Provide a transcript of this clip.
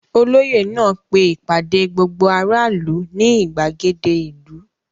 Olóyè náà pe ìpàdé gbogbo aráàlú ní ìgbàgede ìlú.